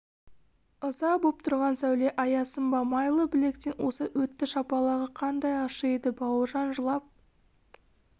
ыза боп тұрған сәуле аясын ба майлы білектен осып өтті шапалағы қандай ащы еді бауыржан жылап